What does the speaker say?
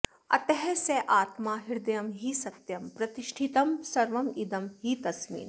अतः स आत्मा हृदयं हि सत्यं प्रतिष्ठितं सर्वमिदं हि तस्मिन्